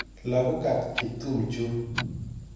Lagok ap Kiptum chu.